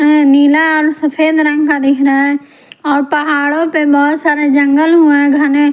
नीला और सफेद रंग का दिख रहा है और पहाड़ों पर बहोत सारे जंगल हुआ है घने--